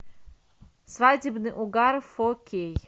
свадебный угар фо кей